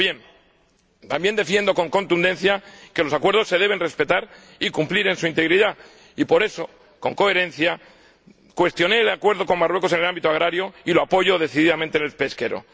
Ahora bien, también defiendo con contundencia que los acuerdos se deben respetar y cumplir en su integridad y, por eso, con coherencia, cuestioné el acuerdo con Marruecos en el ámbito agrario y lo apoyo decididamente en el pesquero.